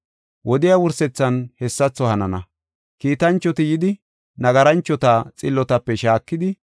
Wodiya wursethan hessatho hanana. Kiitanchoti yidi nagaranchota xillotape shaakidi,